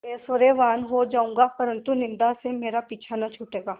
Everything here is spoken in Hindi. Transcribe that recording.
ऐश्वर्यवान् हो जाऊँगा परन्तु निन्दा से मेरा पीछा न छूटेगा